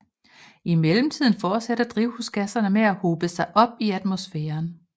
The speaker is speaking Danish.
I mellemtiden fortsætter drivhusgasserne med at hobe sig op i atmosfæren